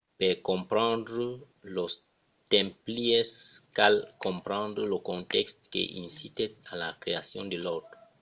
per comprendre los templièrs cal comprendre lo contèxt que incitèt a la creacion de l’òrdre